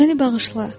Məni bağışla.